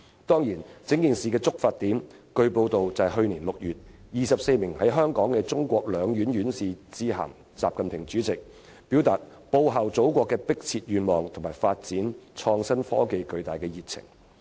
當然，據報道，整件事的觸發點是，去年6月24名在港的中國兩院院士致函主席習近平，表達報效祖國的迫切願望和發展創新科技的巨大熱情。